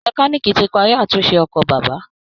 Mẹkáníìkì ti parí àtúnṣe ọkọ̀ bàbá